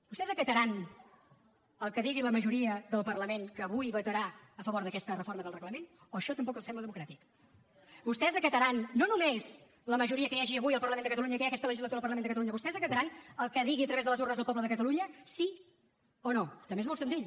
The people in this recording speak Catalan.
vostès acataran el que digui la majoria del parlament que avui votarà a favor d’aquesta reforma del reglament o això tampoc els sembla democràtic vostès acataran no només la majoria que hi hagi avui al parlament de catalunya i que hi ha aquesta legislatura al parlament de catalunya vostès acataran el que digui a través de les urnes el poble de catalunya sí o no també és molt senzill